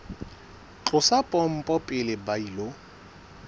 tlosa pompo pele ba ilo